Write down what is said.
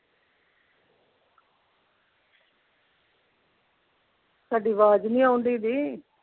ਤੁਹਾਡੀ ਆਵਾਜ਼ ਨਹੀਂ ਆਉਣ ਡਈ ਜੀ।